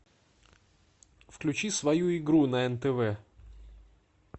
включи свою игру на нтв